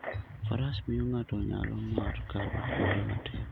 Faras miyo ng'ato nyalo mar kalo kuonde matek.